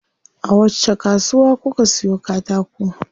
A wacce kasuwa kuka siyo katako?